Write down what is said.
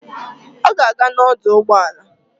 Ọ ga-aga n'ọdọụgbọala